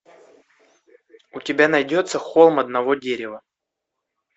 у тебя найдется холм одного дерева